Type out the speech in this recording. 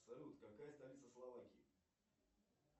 салют какая столица словакии